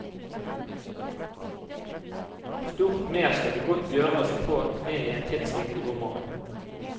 Stort mer skal det godt gjøres å få med i en tidsriktig roman.